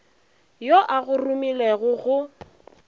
yo a go romilego go